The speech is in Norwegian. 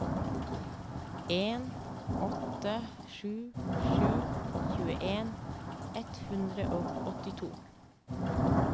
en åtte sju sju tjueen ett hundre og åttito